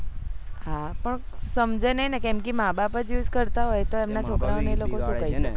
હા પણ સમજે નહી કે માબાપ જ use કરતા હોય તો એમના છોકરાઓ એ લોકો ને સુ કે